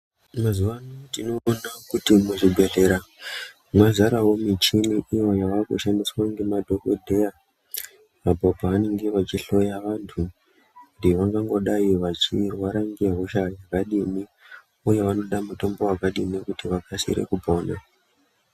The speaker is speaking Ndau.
Mazuva ano tinoona kuti kuzvibhedhlera kwazarawo michini iyo yaakushandiswa nemadhokodheya uko kwanemge veihloya vantu kuti vanongodai vachiwirirana zvakadini uye vanoda mutombo wakadini kuti vakasire kupona.